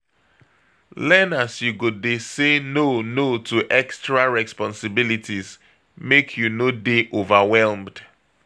Learn as you go dey say no no to extra responsibilities, make you no dey overwhelmed